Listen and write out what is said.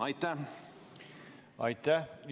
Aitäh!